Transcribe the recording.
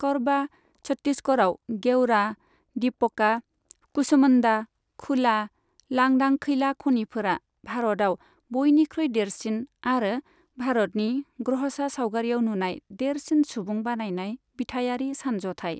करबा, छत्तीसगढ़आव गेवरा, दीपका, कुसमुंडा खुला लांदां खैला खनिफोरा भारतआव बयनिख्रुइ देरसिन आरो भारतनि ग्रह'सा सावगारियाव नुनाय देरसिन सुबुं बानायनाय बिथायारि सानज'थाइ।